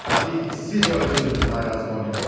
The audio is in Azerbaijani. Təbii ki siz öldürdünüz Bay Raskolnikov.